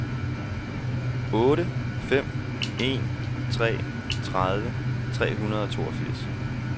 otte fem en tre tredive tre hundrede og toogfirs